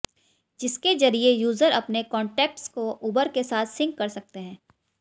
जिसके जरिए यूजर अपने कॉन्टेक्ट्स को उबर के साथ सिंक कर सकते हैं